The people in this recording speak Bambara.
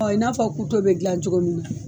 i n'a fɔ kuto bɛ dilan cogo min